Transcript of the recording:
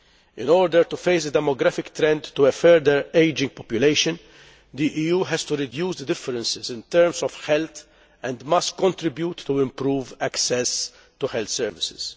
In order to face the demographic trend to a further aging population, the EU has to reduce the differences in terms of health and must contribute to improving access to health services.